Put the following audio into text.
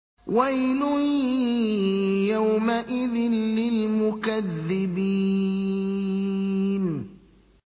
وَيْلٌ يَوْمَئِذٍ لِّلْمُكَذِّبِينَ